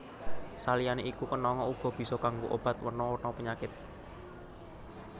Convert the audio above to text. Saliyané iku kenanga uga bisa kanggo obat werna werna penyakit